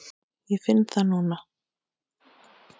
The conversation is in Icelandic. Ég finn það núna.